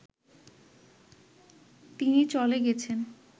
তিনি চলে গেছেন